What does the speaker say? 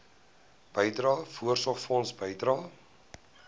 bydrae voorsorgfonds bydrae